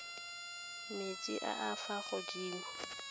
metsi a a fa godimo